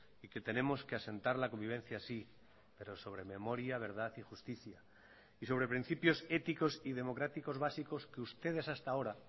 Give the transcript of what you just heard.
y que tenemos que asentar la convivencia sí pero sobre memoria verdad y justicia y sobre principios éticos y democráticos básicos que ustedes hasta ahora